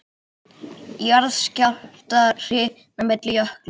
Jarðskjálftahrina milli jökla